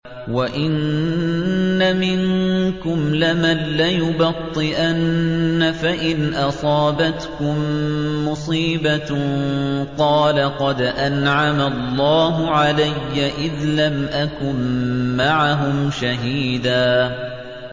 وَإِنَّ مِنكُمْ لَمَن لَّيُبَطِّئَنَّ فَإِنْ أَصَابَتْكُم مُّصِيبَةٌ قَالَ قَدْ أَنْعَمَ اللَّهُ عَلَيَّ إِذْ لَمْ أَكُن مَّعَهُمْ شَهِيدًا